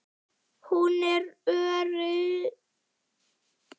Hún er öryrki.